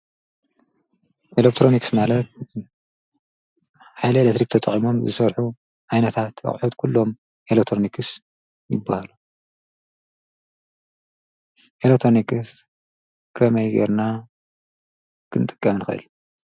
ኤሌክትሮንክስ ማለት ሓይሊ ኤሌክትሪክ ተጠቂሞም ዝሰርሑ ኣይነታ ኣቝሑት ኲሎም ኤለትሮኒክስ ይበሃሉ። ኤለክትሮኒክስ ከመይ ጌርና ክንጥቀ ንኽእል?